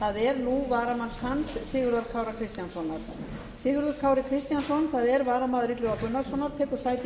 það er nú varamanns hans sigurðar kára kristjánssonar sigurður kári kristjánsson það er varamaður illuga gunnarssonar tekur sæti í